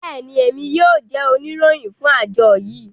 bẹẹni, Emi yoo jẹ onirohin fun ajo yii